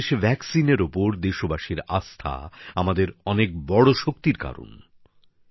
আমাদের দেশের টিকার ওপর দেশবাসীর আস্থা আমাদের অনেক বড় শক্তির কারণ